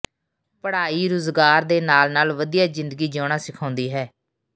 ਪੜ੍ਹਾਈ ਰੁਜ਼ਗਾਰ ਦੇ ਨਾਲ ਨਾਲ ਵਧੀਆ ਜ਼ਿੰਦਗੀ ਜਿਉਣਾ ਸਿਖਾਉਂਦੀ ਹੈ